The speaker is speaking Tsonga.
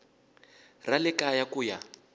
ra le kaya ku ya